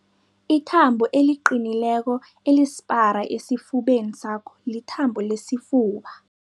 Ithambo eliqinileko elisipara esifubeni sakho lithambo lesifuba.